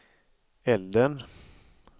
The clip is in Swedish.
elden